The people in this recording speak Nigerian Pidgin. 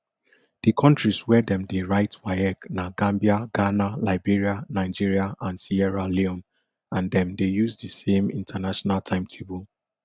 di kontris wia dem dey write waec na gambia ghana liberia nigeria and sierra leone and dem dey use di same international timetable